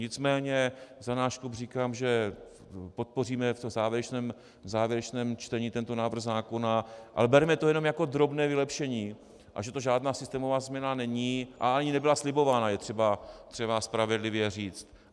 Nicméně za náš klub říkám, že podpoříme v závěrečném čtení tento návrh zákona, ale bereme to jenom jako drobné vylepšení, a že to žádná systémová změna není, a ani nebyla slibována, je třeba spravedlivě říct.